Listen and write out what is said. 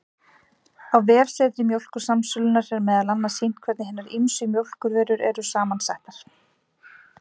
Á vefsetri Mjólkursamsölunnar, er meðal annars sýnt hvernig hinar ýmsu mjólkurvörur eru saman settar.